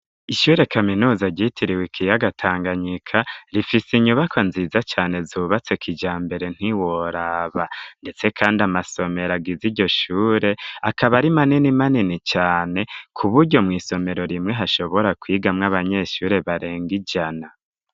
Ishure kaminuza ryitiriwe ikiyaga Tanganyika rifise inyubako nziza cane zubatse kijambere ntiworaba ndetse kandi amasomero agiza iryo shure akaba ari manini manini cane kuburyo mw'isomero rimwe hashobora kwigamwo abanyeshure barenga ijana.